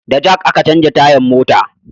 Da jak a ka canja tayan mota